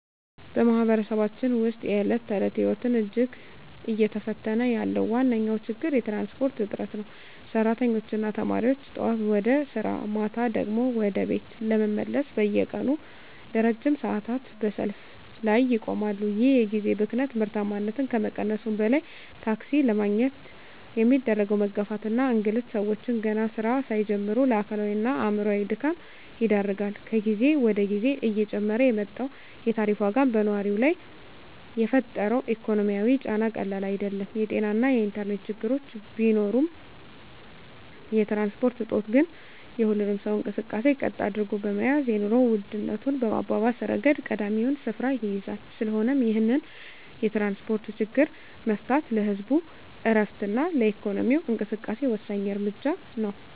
በማኅበረሰባችን ውስጥ የዕለት ተዕለት ሕይወትን እጅግ እየፈተነ ያለው ዋነኛው ችግር የትራንስፖርት እጥረት ነው። ሠራተኞችና ተማሪዎች ጠዋት ወደ ሥራ፣ ማታ ደግሞ ወደ ቤት ለመመለስ በየቀኑ ለረጅም ሰዓታት በሰልፍ ላይ ይቆማሉ። ይህ የጊዜ ብክነት ምርታማነትን ከመቀነሱም በላይ፣ ታክሲ ለማግኘት የሚደረገው መጋፋትና እንግልት ሰዎችን ገና ሥራ ሳይጀምሩ ለአካላዊና አእምሮአዊ ድካም ይዳርጋል። ከጊዜ ወደ ጊዜ እየጨመረ የመጣው የታሪፍ ዋጋም በነዋሪው ላይ የፈጠረው ኢኮኖሚያዊ ጫና ቀላል አይደለም። የጤናና የኢንተርኔት ችግሮች ቢኖሩም፣ የትራንስፖርት እጦት ግን የሁሉንም ሰው እንቅስቃሴ ቀጥ አድርጎ በመያዝ የኑሮ ውድነቱን በማባባስ ረገድ ቀዳሚውን ስፍራ ይይዛል። ስለሆነም ይህንን የትራንስፖርት ችግር መፍታት ለህዝቡ ዕረፍትና ለኢኮኖሚው እንቅስቃሴ ወሳኝ እርምጃ ነው።